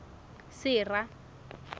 sera